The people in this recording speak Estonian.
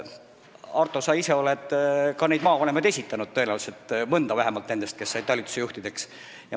Arto, sa ise oled tõenäoliselt ka neid maavanemaid esitanud – vähemalt mõne nendest, kes said talituste juhtideks.